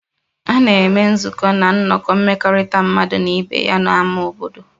A na-eme nzukọ na nnọkọ mmekọrịta mmadụ na ibe ya na ámá obodo